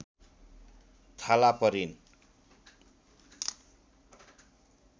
थला परिन्